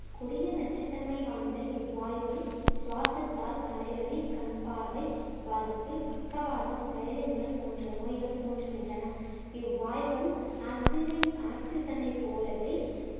கொடிய நச்சுத்தன்மை வாய்ந்த இவ்வாய்வை சுவாசத்தால் தலைவலி, கண் பார்வை பாதிப்பு, பக்கவாதம், செயலின்மை போன்ற நோய்கள் தோன்றுகின்றன இவ்வாய்வும் ஆக்சினை~ ஆக்சிஜனை போலவே